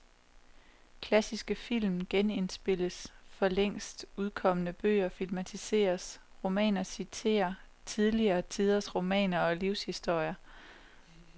Klassiske film genindspilles, for længst udkomne bøger filmatiseres, romaner citerer tidligere tiders romaner og livshistorier.